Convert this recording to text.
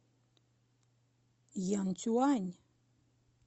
янцюань